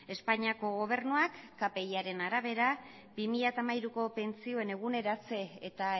espainiako gobernuak kpiaren arabera bi mila hamairuko pentsioen eguneratze eta